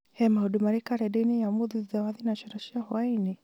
he maũndũ marĩ karenda-inĩ ya ũmũthĩ thutha wa thinacara cia hwaĩinĩ